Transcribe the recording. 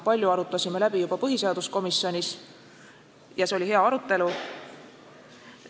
Palju arutasime läbi juba põhiseaduskomisjonis ja see oli hea arutelu.